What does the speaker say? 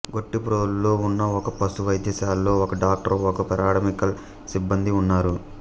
గొట్టిప్రోలులో ఉన్న ఒక పశు వైద్యశాలలో ఒక డాక్టరు ఒకరు పారామెడికల్ సిబ్బందీ ఉన్నారు